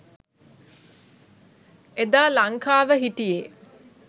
එදා ලංකාව හිටියේ